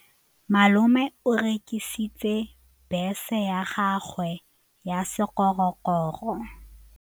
Malome o rekisitse bese ya gagwe ya sekgorokgoro.